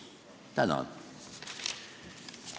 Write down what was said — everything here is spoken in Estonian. Tänan!